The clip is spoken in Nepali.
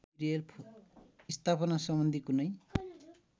स्थापना सम्बन्धी कुनै